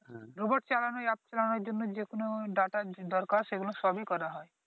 Robot চালানো এই App চালানোর জন্য যেকোন ডাটার দরকার সেগুলো সবই করা হয়।